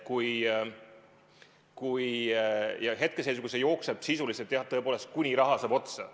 Hetkeseisuga see jookseb sisuliselt nii kaua, tõepoolest, kuni raha saab otsa.